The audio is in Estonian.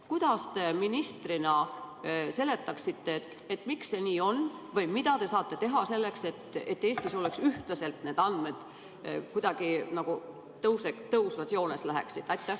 Kuidas te ministrina seletaksite, miks see nii on, või mida te saate teha selleks, et Eestis oleks need andmed ühtlasemad, läheksid kuidagi nagu tõusvas joones?